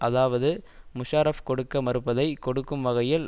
அதாவது முஷாரஃப் கொடுக்க மறுப்பதை கொடுக்கும் வகையில்